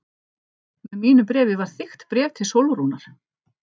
Með mínu bréfi var þykkt bréf til Sólrúnar.